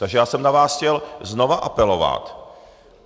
Takže já jsem na vás chtěl znova apelovat.